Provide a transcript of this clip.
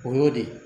O y'o de ye